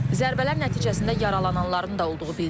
Zərbələr nəticəsində yaralananların da olduğu bildirilir.